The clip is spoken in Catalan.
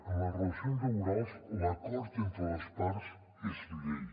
en les relacions laborals l’acord entre les parts és llei